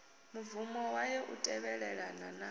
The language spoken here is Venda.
mubvumo wayo u tevhelelana na